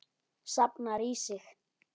Safnar í sig.